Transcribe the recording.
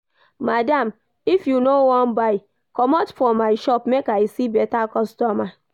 Madam if you no wan buy, commot for my shop make I see better customer